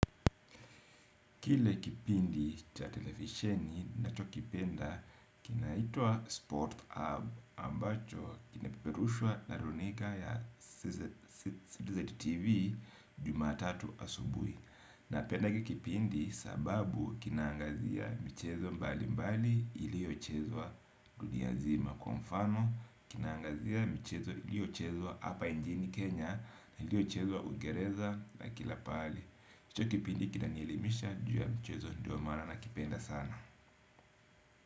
Kile kipindi cha televisheni na chokipenda kinaitwa Sport Hub ambacho kinapeperushwa naruninga ya Citizen tv jumatatu asubui. Na penda hiki kipindi sababu kinaangazia michezo mbali mbali iliochezwa dunia zima kwa mfano kinangazia mchezo iliochezwa hapa njini Kenya iliochezwa ungereza na kila pahali. Hicho kipindi kinanielimisha juu ya mchezo ndiomana na kipenda sana.